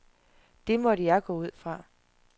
Det måtte jeg gå ud fra.